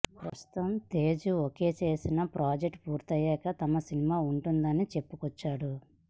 ప్రస్తుతం తేజు ఓకే చేసిన ప్రాజెక్టులు పూర్తయ్యాక తమ సినిమా ఉంటుందని చెప్పుకొచ్చాడు